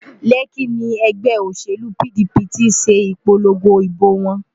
Lekki ni ẹgbẹ́ òṣèlú PDP ti ṣe ìpolongo ìbò wọn